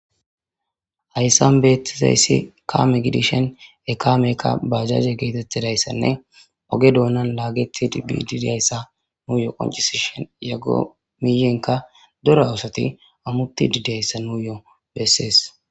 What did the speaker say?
hayssan beettizayssi kaame gidishen ekaamekka bajaze geetettidayssanne oge doonan laagetid bididiyayssa nuuyo qoncisishen yaggo miyenka dora oosati ammutti didiyayssa nuu yoo bessees